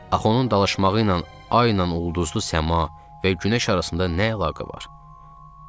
Axı onun dalaşmağı ilə ay ilə ulduzlu səma və günəş arasında nə əlaqə var?